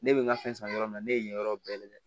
Ne bɛ n ka fɛn san yɔrɔ min na ne ye yen yɔrɔ bɛɛ lajɛ